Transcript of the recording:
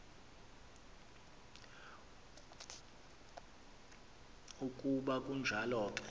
ukuba kunjalo ke